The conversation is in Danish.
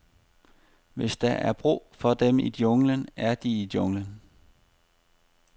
Hvis der er brug for dem i junglen, er de i junglen.